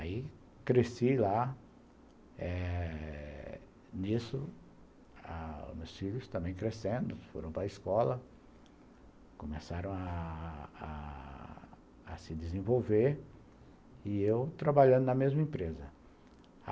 Aí cresci lá, nisso, meus filhos também crescendo, foram para escola, começaram a a a se desenvolver, e eu trabalhando na mesma empresa.